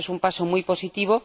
eso es un paso muy positivo.